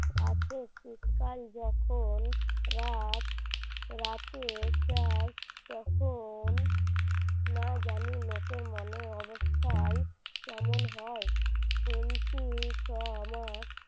আছে শীতকাল যখন রাত রাতে চাস তখন না জানি লোকের মনের অবস্থা হয় কেমন হয় শুনছি ছ মাস